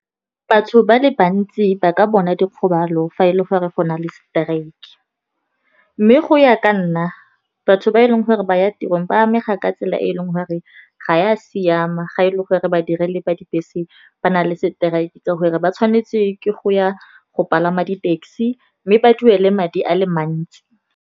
Batho ba le bantsi ba ka bona dikgobalo fa e le gore go na le strike. Mme go ya ka nna batho ba e leng gore ba ya tirong, ba amega ka tsela e e leng gore ga ya siama. Ga e le gore ba direle ba dibese ba na le seteraeke sa gore ba tshwanetse ke go ya go palama di-taxi mme ba duele madi a le mantsi.